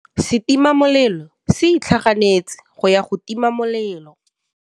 Setima molelô se itlhaganêtse go ya go tima molelô.